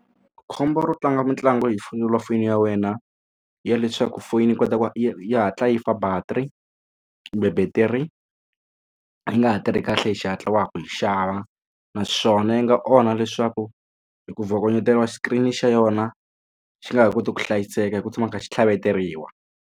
Khombo ro tlanga mitlangu hi selulafoni ya wena ya leswaku foyini yi kota ku yi hatla yi fa battery kumbe battery yi nga ha tirhi kahle hi xihatla wa ha ku yi xava naswona yi nga onha leswaku hi ku bvokonyeteriwa screen xa yona xi nga ha koti ku hlayiseka hi ku tshama kha xi tlhaveteriwi.